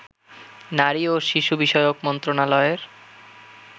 নারী ও শিশু বিষয়ক মন্ত্রণালয়ের